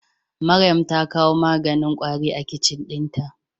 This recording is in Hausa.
Maryam ta kawo maganin kwari a kicin dinta.